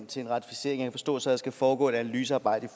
til ratificering jeg forstod så at der skal foregå et analysearbejde